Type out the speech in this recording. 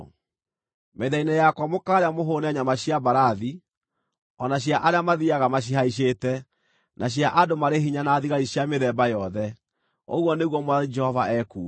Metha-inĩ yakwa mũkaarĩa mũhũũne nyama cia mbarathi, o na cia arĩa mathiiaga macihaicĩte, na cia andũ marĩ hinya na thigari cia mĩthemba yothe’, ũguo nĩguo Mwathani Jehova ekuuga.